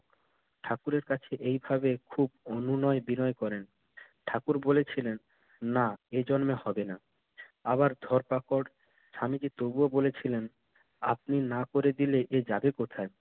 ঠাকুরের কাছে এইভাবে খুব অনুনয় বিনয় করেন। ঠাকুর বলেছিলেন, না এই জন্মে হবে না। আবার ধরপাকড়। স্বামীজি তবুও বলেছিলেন, আপনি না করে দিলে এ যাবে কোথায়?